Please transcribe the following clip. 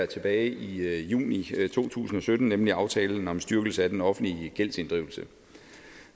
tilbage i juni to tusind og sytten nemlig aftalen om styrkelse af den offentlige gældsinddrivelse